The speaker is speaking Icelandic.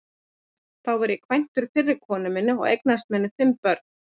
Þá var ég kvæntur fyrri konu minni og eignaðist með henni fimm börn.